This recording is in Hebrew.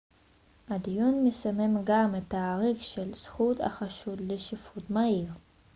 הדיון מסמן גם את התאריך של זכות החשוד לשיפוט מהיר